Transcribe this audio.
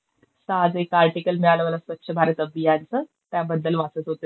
आज एक आर्टिकल मिळालं मला स्वच्छ भारत अभियान चं. त्याबद्दल वाचत होते जरा.